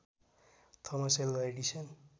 Thomas Alva Edison